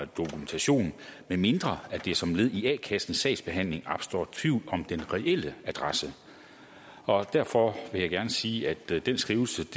dokumentation medmindre der som led i a kassens sagsbehandling opstår tvivl om den reelle adresse og derfor vil jeg gerne sige at den skrivelse